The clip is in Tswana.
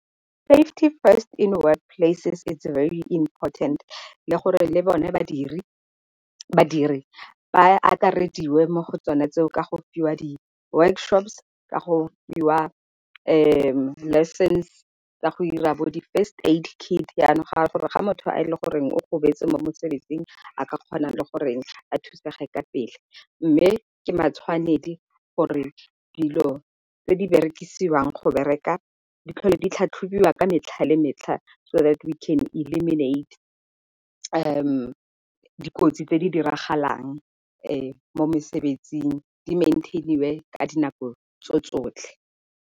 Safety first in work places is very important le gore le bone badiri ba akarediwe mo go tsone tseo ka go fiwa di-workshops, ka go fiwa di-lessons tsa go dira bo di first aid kit. Yanong ga gore ga motho a e le goreng o gobetse mo mosebetsing a ka kgonang le gore a thusege ka pele. Mme ke matshwanedi gore dilo tse di berekisiwa go bereka ditlhole di tlhatlhobiwa ka metlha le metlha, so that we can eliminate dikotsi tse di diragalang mo mosebetsing di maintain-iwe ka dinako tso tsotlhe.